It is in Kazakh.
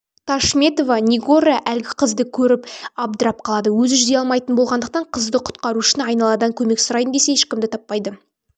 ташметова нигора әлгі қызды көріп абдырап қалады өзі жүзе алмайтын болғандықтан қызды құтқару үшін айналадан көмек сұрайын десе ешкімді таппайды